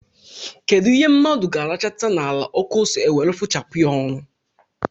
Kedụ ihe mmadụ ga-arachata n'ala ọkụ ose e were fụchapụ ya ọnụ?